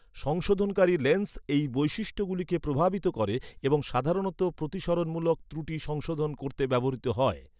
সংশোধনকারী lens এই বৈশিষ্ট্যগুলিকে প্রভাবিত করে এবং সাধারণত প্রতিসরণমূলক ত্রুটি সংশোধন করতে ব্যবহৃত হয়।